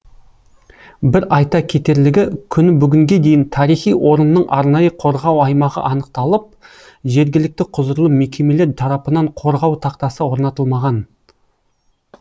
бір айта кетерлігі күні бүгінге дейін тарихи орынның арнайы қорғау аймағы анықталып жергілікті құзырлы мекемелер тарапынан қорғау тақтасы орнатылмаған